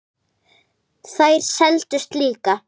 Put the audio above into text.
Þær seldust líka.